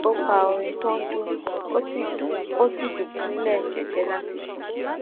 ó pa orin tó ń dún ó sì dún ó sì dùbúlè jẹjẹ láti sùn